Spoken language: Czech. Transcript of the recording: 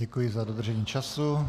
Děkuji za dodržení času.